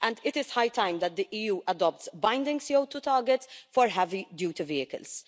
It is high time that the EU adopts binding CO2 targets for heavy duty vehicles.